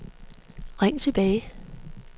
ring tilbage